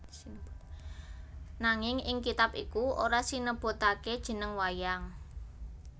Nanging ing kitab iku ora sinebutaké jeneng wayang